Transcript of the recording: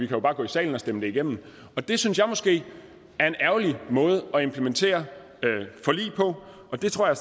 bare gå i salen og stemme det igennem og det synes jeg måske er en ærgerlig måde at implementere forlig på og der tror jeg